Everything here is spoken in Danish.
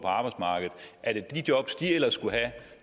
arbejdsmarkedet er det de jobs som de ellers skulle have